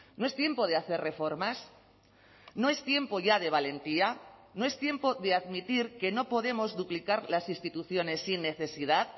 no es tiempo de hacer reformas no es tiempo ya de valentía no es tiempo de admitir que no podemos duplicar las instituciones sin necesidad